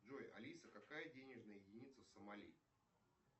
джой алиса какая денежная единица в самали